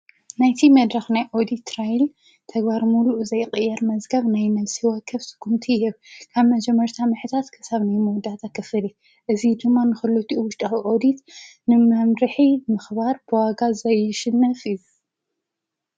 ናይቲ መድራኽ ናይ ኦዲት ትራይል ተጓር ሙሉእ ዘይቐየር መዝገብ ናይ ነፍሲ ወከፍ ስኩምቲ ህብ ካብ መጀመርታ መሕታት ከሳብ ነይ መዉዳት ኣኸፍድ እዝ ድማ ንክሉቲ ውሽድዊ ኦዲት ንማምርሒ ምኽባር ብዋጋ ዘይሽነፍ ዩ::